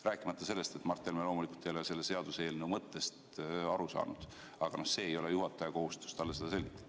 Rääkimata sellest, et Mart Helme loomulikult ei ole selle seaduseelnõu mõttest aru saanud, aga see ei ole juhataja kohustus talle seda selgitada.